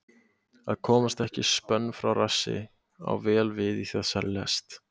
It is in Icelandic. Að komast ekki spönn frá rassi á vel við í þessari lest.